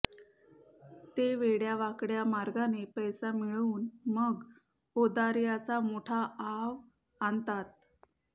ते वेडयावाकडया मार्गाने पैसा मिळवून मग औदार्याचा मोठा आव आणतात